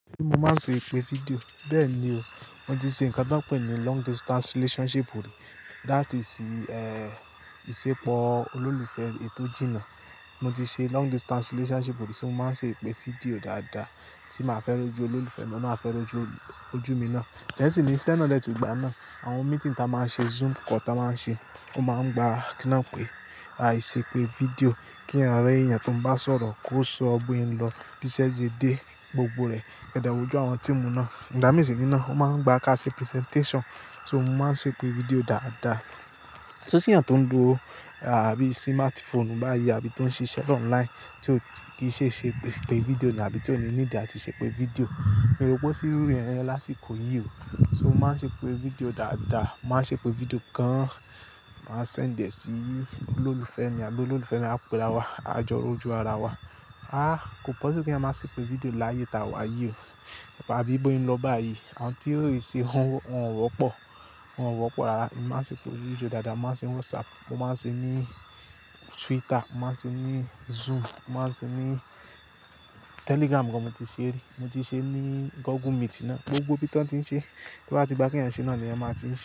Pe mo máa ń ṣe ìpè fídíò. Bẹ́ẹ̀ ni o, mo ti ṣe ǹkan tán pè ní long distance relationship rí, that is, eh ìsepọ̀ olólùfẹ́ èni tò jìnnà. Mo ti ṣe long distance relationship rí tí mo máa ń ṣe ìpè fídíò dáadáa, tí màá fẹ́ rójú olólùfẹ́ mi àti óun naa a fẹ́ rójú ojú mi ná. Then nisìin isẹ́ náà dè ti gbà náà, àwọn meeting táa máa ń ṣe, zoom call táa máa ń ṣe, ó máa ń gba kí náà pé, a ì ṣe ìpè fídíò kí eeyàn rí èèyàn tó ń bá sọ̀rọ̀, kó sọ bó se n lọ, bí iṣẹ́ ṣe dé gbogbo rẹ̀, kẹ́dẹ̀ wojú àwọn team náà. Ìgbà mìíràn sì ní náà ó máa ń gba ká ṣe presentation, so mo máa ń ṣe ìpè fídíò dáadáa. So tí èèyàn tó ń lo àbí smartphone báyí abi tó ń ṣiṣẹ́ online tí ò kí ṣe ṣe ìpè fídíò náà àbí tí ó ní need àti ṣe ìpè fídíò, mi o rò pé ó ṣí rú yẹ̀n láṣìkò yìí o. So mo máa ń ṣe ìpè fídíò dáadáa, mo máa ń ṣe ìpè fídíò gan, màá send ẹ sí olólùfẹ́ mi àbí olólùfẹ́ mi á pè ráwà, á jọ rojú ara wa. A, kò possíble kéeyan máa ṣe ìpè fídíò láyé ta wà yìí o. Àbí bó se n lọ báyìí, àwọn tí ò rí ì ṣe wọn ò wọ́pọ̀, wọn ò wọ́pọ̀ rárá. Mo máa ń ṣe ìpè fídíò dáadáa, mo máa ń ṣe whatsapp, mo máa ń ṣe ní Twitter, mo máa ń ṣe ní Zoom, mo máa ń ṣe ní Telegram gan mo ti ṣe rí, mo ti ṣe ní Google meeting náà, gbogbo ibi tí wọ́n ti ń ṣe. To bá ti gbá kẹ̀eyan ṣe náà ni eẹ̀yan máa ti ń ṣe.